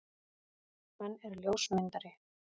Hann er ljósmyndari.